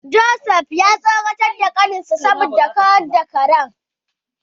Joseph ya tsoratar da kaninsa saboda ya kawar da shi daga karen.